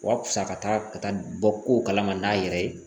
Wa fisa ka taa ka taa bɔ kow kala ma n'a yɛrɛ ye